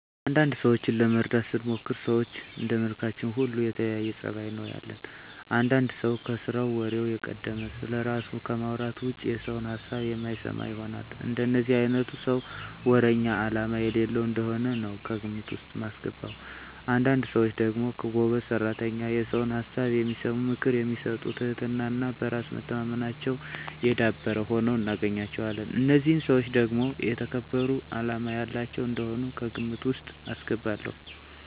አንዳንድ ሰዎችን ለመረዳት ስሞክር ሰዎች እንደመልካችን ሁሉ የተለያየ ፀባይ ነው ያለን። አንዳንድ ሰው ከስራው ወሬው የቀደመ፣ ስለራሱ ከማውራት ውጭ የሰውን ሀሳብ የማይሰማ ይሆናል። እንደዚህ አይነቱን ሰው ወረኛ አላማ የሌለው እንደሆነ ነው ከግምት ውስጥ ማስገባው። አንዳንድ ሰዎች ደግሞ ጎበዝ ሰራተኛ፣ የሰውን ሀሳብ የሚሰሙ፣ ምክር የሚሰጡ ትህትና እና በራስ መተማመናቸው የዳበረ ሁነው እናገኛቸዋለን። እነዚህን ሰዎች ደግሞ የተከበሩ አላማ ያላቸው እንደሆኑ ከግምት ውስጥ አስገባለሁ።